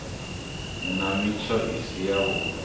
nna mitsho i si yavhui